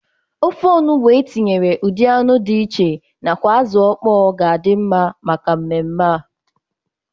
Ofe onugbu e tinyere ụdị anụ dị iche nakwa azụ ọkpọ ga-adị mma maka mmemme a.